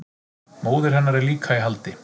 Móðir hennar er líka í haldi